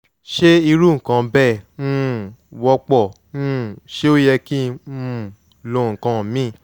ṣé irú nǹkan bẹ́ẹ̀ um wọ́pọ̀? um ṣé ó yẹ kí um n lo nǹkan míì?